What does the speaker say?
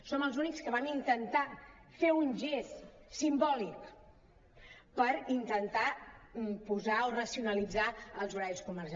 som els únics que vam intentar fer un gest sim·bòlic per intentar posar o racionalitzar els horaris comercials